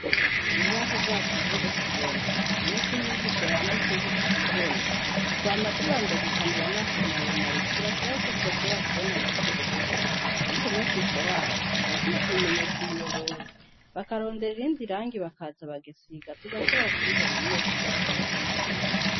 Urubaho rwacu ntirukibona nivyo umwigisha yanditse ntitubibona twama tubanza gikanura amaso maremare kugira turabe ko twoshobora kubona na buhoro buhoro ariko umwigisha wacu arakwiye kubimenyesha umuyobozi bakarondera irindi rangi bakaza bagasiga tugashobora kubibona neza ivyo bariko baratwigisha.